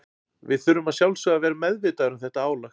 Við þurfum að sjálfsögðu að vera meðvitaðir um þetta álag.